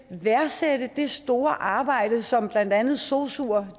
værdsætte det store arbejde som blandt andet sosuer